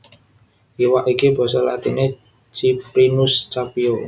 Iwak iki basa latiné Ciprinus Capio